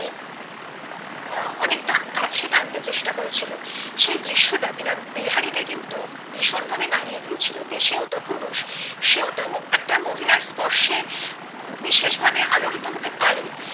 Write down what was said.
আহ অনেক টা কাছে টানতে চেষ্টা করেছিলো সেইদৃশ্য টা বিহারি কে কিন্তু ভীষণ ভাবে নাড়িয়ে দিয়ে ছিল কিন্তু সেও তো পুরুষ সেও তো একটা মহিলার স্পর্শে আহ বিশেষ ভাবে আলোড়িত হতে পারে